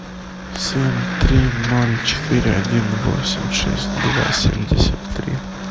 семь три ноль четыре один восемь шесть два семьдесят три